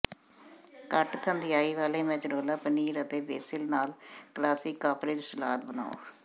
ਘੱਟ ਥੰਧਿਆਈ ਵਾਲੇ ਮੋਜੇਰੇਲਾ ਪਨੀਰ ਅਤੇ ਬੇਸਿਲ ਨਾਲ ਕਲਾਸਿਕ ਕਾਪਰੇਜ਼ ਸਲਾਦ ਬਣਾਉ